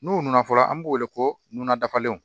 N'u nan fɔlɔ an b'o wele ko nuna dafalen